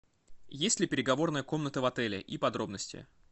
есть ли переговорная комната в отеле и подробности